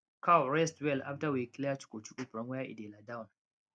cow rest well after we clear chukuchuku from where e dey lie down